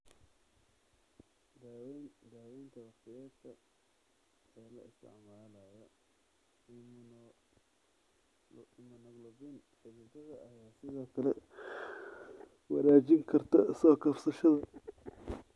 Daawaynta wakhtiyeedka ee la isticmaalayo immunoglobulin xididada ayaa sidoo kale wanaajin karta soo kabashada.